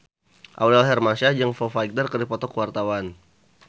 Aurel Hermansyah jeung Foo Fighter keur dipoto ku wartawan